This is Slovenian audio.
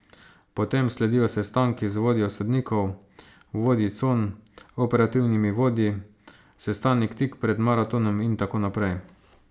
Potem sledijo sestanki z vodjo sodnikov, vodji con, operativnimi vodji, sestanek tik pred maratonom in tako naprej.